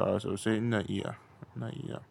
A'a sosai ina iya, ina iya.